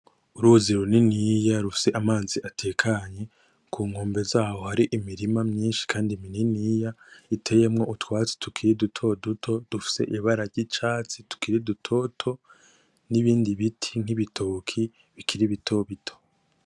Uruzi runiniya rufise amazi atekanye ku nkombe zaho hari imirima myishi kandi mininiya iteyemwo utwatsi tukiri dutoduto dufise ibata ry’icatsi tukiri dutoto n’ibindi biti nk’ibitoke bikiri bitobito.